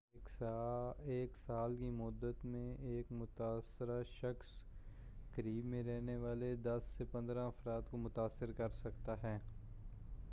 ایک سال کی مدت میں ایک متاثرہ شخص قریب میں رہنے والے 10 سے 15 افراد کو متاثر کرسکتا ہے